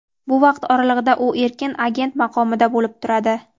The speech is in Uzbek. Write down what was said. bu vaqt oralig‘ida u erkin agent maqomida bo‘lib turadi.